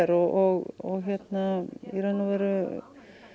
og í raun og veru